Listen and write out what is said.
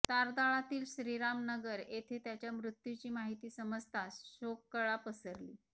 तारदाळातील श्रीरामनगर येथे त्याच्या मृत्यूची माहिती समजताच शोककळा पसरली